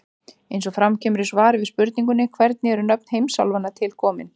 Eins og fram kemur í svari við spurningunni Hvernig eru nöfn heimsálfanna til komin?